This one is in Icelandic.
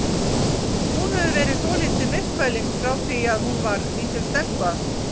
Hún hefur verið svolítið myrkfælin frá því að hún var lítil stelpa.